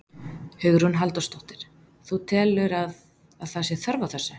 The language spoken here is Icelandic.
Hugrún Halldórsdóttir: Þú telur að, að það sé þörf á þessu?